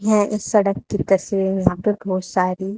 सड़क की तस्वीर यहां पे बहोत सारी।